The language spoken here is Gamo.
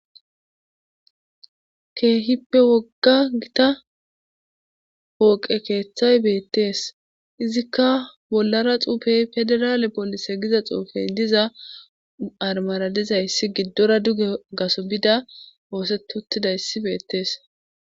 Keehippe wogga gita pooqe keeththay beetees. izikka bollara xuufe pedirale giza xuufe diza armara dizayssi gidora duge gaso bida ooseti uttidayssi beetees.